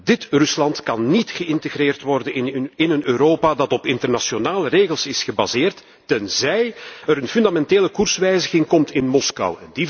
Dit Rusland kan niet geïntegreerd worden in een Europa dat op internationale regels is gebaseerd, tenzij er een fundamentele koerswijziging komt in Moskou.